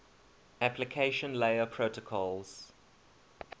application layer protocols